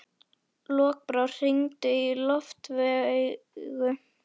Lokbrá, hringdu í Loftveigu.